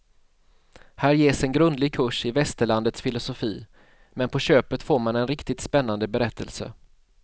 Här ges en grundlig kurs i västerlandets filosofi, men på köpet får man en riktigt spännande berättelse.